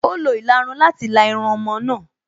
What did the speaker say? Ó lo ìlarun láti la irun ọmọ náà